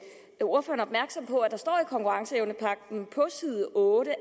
ordføreren opmærksom på at der står i konkurrenceevnepagten på side 8